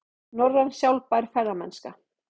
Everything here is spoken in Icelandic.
Norræn sjálfbær ferðamennska